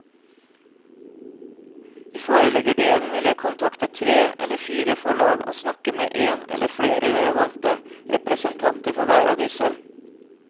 I forleggerdelen vil jeg kontakte tre eller fire forlag og snakke med en eller flere relevante representanter for hver av disse.